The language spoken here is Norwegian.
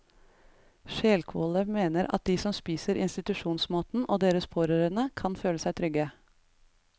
Skjelkvåle mener at de som spiser institusjonsmaten, og deres pårørende, kan føle seg trygge.